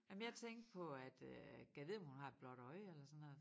Jamen jeg tænkte på at øh gad vide om hun har et blåt øje eller sådan noget